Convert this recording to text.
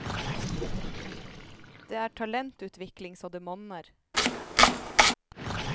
Det er talentutvikling så det monner.